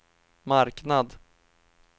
marknad